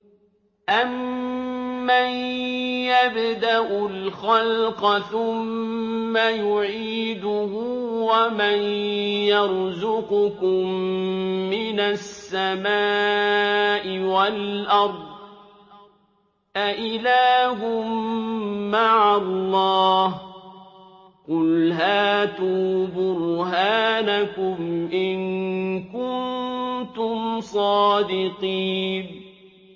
أَمَّن يَبْدَأُ الْخَلْقَ ثُمَّ يُعِيدُهُ وَمَن يَرْزُقُكُم مِّنَ السَّمَاءِ وَالْأَرْضِ ۗ أَإِلَٰهٌ مَّعَ اللَّهِ ۚ قُلْ هَاتُوا بُرْهَانَكُمْ إِن كُنتُمْ صَادِقِينَ